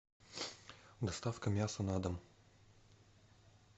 доставка мяса на дом